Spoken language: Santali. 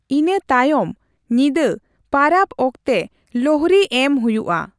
ᱤᱱᱟᱹ ᱛᱟᱭᱚᱢ ᱧᱤᱫᱟᱹ ᱯᱟᱨᱟᱵ ᱚᱠᱛᱮ ᱞᱳᱦᱽᱨᱤ ᱮᱢ ᱦᱩᱭᱩᱜᱼᱟ ᱾